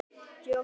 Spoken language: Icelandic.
Jósef